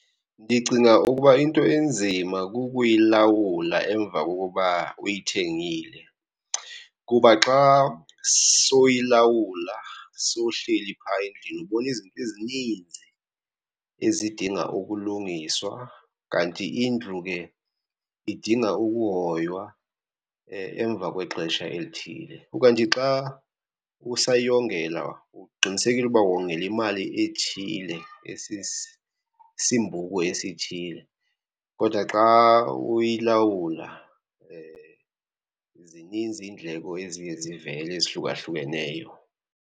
Ndicinga ukuba into enzima kukuyilawula emva kokuba uyithengile. Kuba xa sowuyilawula sowuhleli phaya endlini, ubona izinto ezininzi ezidinga ukulungiswa kanti indlu ke idinga ukuhoywa emva kwexesha elithile. Ukanti xa usayongela uqinisekile uba wongela imali ethile esisimbhuku esithile. Kodwa xa uyilawula zininzi indleko eziye zivele ezihlukahlukeneyo.